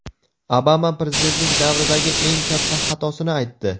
Obama prezidentlik davridagi eng katta xatosini aytdi.